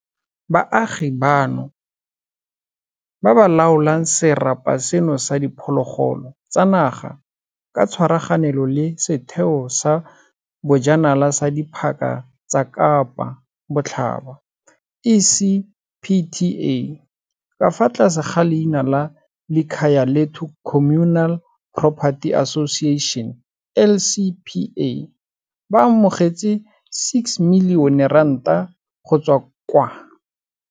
Baagi bano, ba ba laolang serapa seno sa diphologolo tsa naga ka tshwaraganelo le Setheo sa Bojanala sa Diphaka tsa Kapa Botlhaba, ECPTA, ka fa tlase ga leina la Likhayalethu Communal Porperty Association, LCPA, ba amogetse R6 milione go tswa.